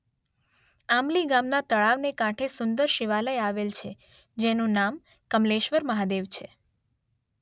આંબલી ગામના તળાવને કાંઠે સુંદર શિવાલય આવેલ છે જેનુ નામ કમલેશ્વર મહાદેવ છે